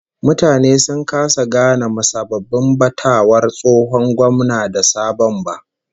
Mutane sun kasa gane musabbabin batawar tsohon gwamna da sabon ba